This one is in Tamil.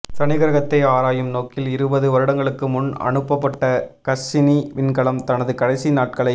சனிக் கிரகத்தை ஆராயும் நோக்கில் இருபது வருடங்களுக்கு முன் அனுப்பப்பட்ட கஸ்ஸினி விண்கலம் தனது கடைசி நாட்களை